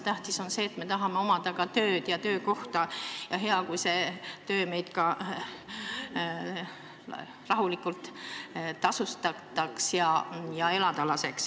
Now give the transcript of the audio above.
Tähtis on see, et me tahame ka tööd ja töökohta ning on hea, kui meid selle töö eest ka piisavalt tasustataks, nii et saaks elada.